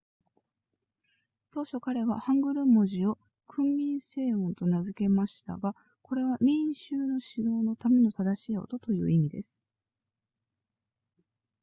当初彼はハングル文字を訓民正音と名付けたましたがこれは民衆の指導のための正しい音という意味です